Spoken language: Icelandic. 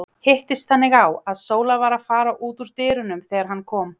Hittist þannig á, að Sóla var að fara út úr dyrunum þegar hann kom.